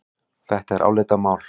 Þetta er álitamál.